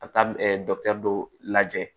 A bɛ taa dɔkitɛri dɔ lajɛ